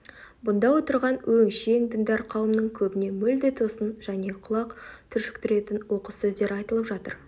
бұнда отырған өңшең діндар қауымның көбіне мүлде тосын және құлақ түршіктіретін оқыс сөздер айтылып жатыр